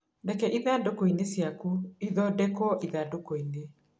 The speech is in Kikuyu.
Reke ithandũkũ-inĩ ciaku ithondekwo ithandũkũ-inĩ